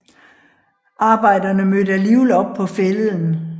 Arbejderne mødte alligevel op på Fælleden